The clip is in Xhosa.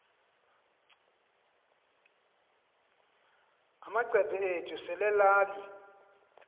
amacephe ethu selelal